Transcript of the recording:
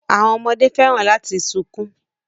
Àwọn ọmọdé fẹ́ràn láti sunkún